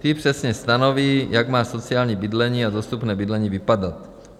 Ty přesně stanoví, jak má sociální bydlení a dostupné bydlení vypadat.